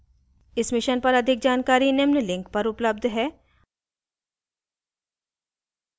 इस mission पर अधिक जानकारी निम्न लिंक पर उपलब्ध है